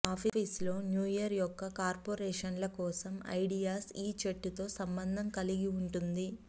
ఆఫీసులో new year యొక్క కార్పోరేషన్ల కోసం ఐడియాస్ ఈ చెట్టుతో సంబంధం కలిగి ఉంటుంది